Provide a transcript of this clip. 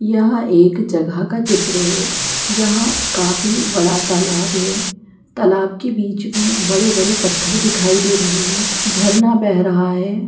यह एक जगह का चित्र है जहाँ काफी बड़ा तालाब है तालाब के बीच में बड़े-बड़े पत्थर दिखाई दे रहे हैं झरना बह रहा है।